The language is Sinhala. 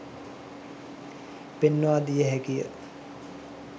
පෙන්වා දිය හැකිය